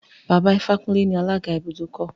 Baba Ifákúnlé ni alága ibùdókọ̀.